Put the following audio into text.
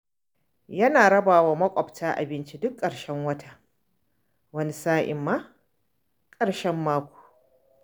Yana raba wa mabuƙata abinci duk ƙarshen wata, wani sa'in ma ƙarshen mako.